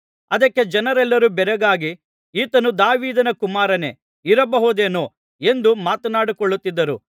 ಅದಕ್ಕೆ ಜನರೆಲ್ಲರೂ ಬೆರಗಾಗಿ ಈತನು ದಾವೀದನ ಕುಮಾರನೇ ಇರಬಹುದೇನೋ ಎಂದು ಮಾತನಾಡಿಕೊಳ್ಳುತ್ತಿದ್ದರು